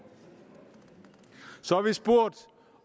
så har vi spurgt